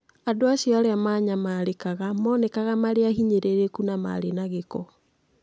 Andũ acio arĩa manyamarĩkaga monekaga marĩ ahinyĩrĩrĩku na marĩ na gĩko.